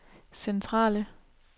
centrale